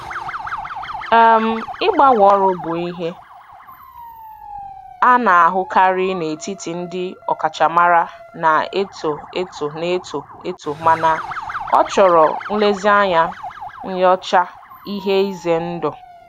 um Ịgbanwe ọrụ bụ ihe a na-ahụkarị n'etiti ndị ọkachamara na-eto eto na-eto eto mana ọ chọrọ nlezianya nyochaa ihe ize ndụ.